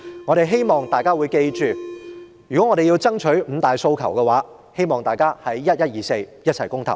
我希望大家記得，如要爭取五大訴求，便要在11月24日一起公投。